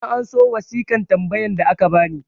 na anso wasiƙan tambayan da aka bani